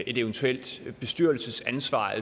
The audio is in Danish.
et eventuelt bestyrelsesansvar